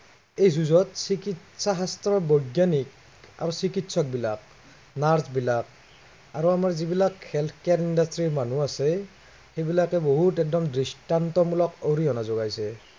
এই যুঁজত চিকিৎসা শাস্ত্ৰৰ বৈজ্ঞানিক, আৰু চিকিৎসকবিলাক, নাৰ্চবিলাক আৰু আমাৰ যিবিলাক health কেন্দ্ৰত যে মানুহ আছে, সেই বিলাকে বহুত একদম দৃষ্টন্তমূলক অৰিহা যোগাইছে।